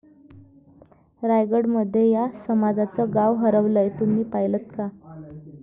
रायगडमध्ये या समाजाचं गाव हरवलंय.. तुम्ही पाहिलंत का?